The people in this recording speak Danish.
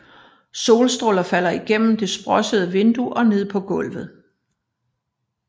Solstråler falder igennem det sprossede vindue og ned på gulvet